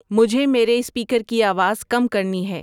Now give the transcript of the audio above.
مجھے میرے اسپیکر کی آواز کم کرنی ہے